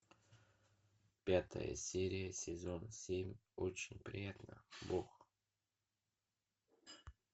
пятая серия сезон семь очень приятно бог